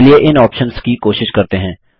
चलिए इन ऑप्शन्स की कोशिश करते हैं